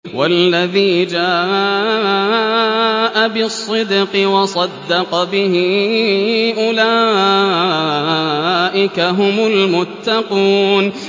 وَالَّذِي جَاءَ بِالصِّدْقِ وَصَدَّقَ بِهِ ۙ أُولَٰئِكَ هُمُ الْمُتَّقُونَ